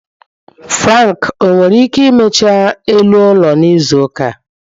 Frank owere ike imecha elu ụlọ n'izu ụka a?